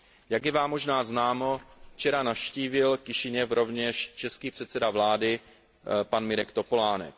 Jak je vám možná známo, včera navštívil Kišiněv rovněž český předseda vlády pan Mirek Topolánek.